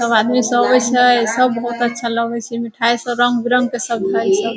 सब आदमी सब अइसे सब बोहोत अच्छा लगय से मिठाई से रंग-बिरंग के सब है सब।